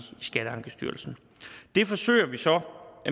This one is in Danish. skatteankestyrelsen det forsøger vi så